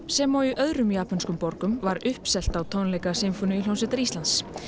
sem og öðrum japönskum borgum var uppselt á tónleika Sinfóníuhljómsveitar Íslands